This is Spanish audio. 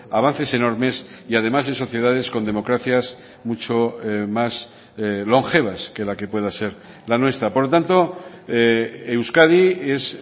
avances enormes y además en sociedades con democracias mucho más longevas que la que pueda ser la nuestra por lo tanto euskadi es